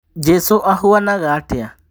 Njĩsu ahuanaga atĩa?